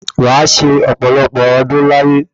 Wa se ọ̀pọ̀lọpọ̀ ọdún láyé